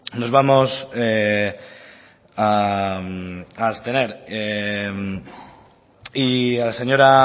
nos vamos a abstener y a la señora